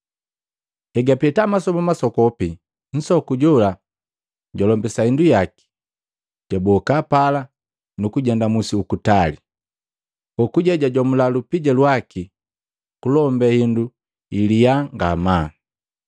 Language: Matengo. Hegapeta masoba masokopi, nsoku jola jwalombisa hindu yaki, jwaboka pala kujenda musi uku tali. Kokuje jwajomula lupija lwaki kulombe indu ya lyaa ngamaa.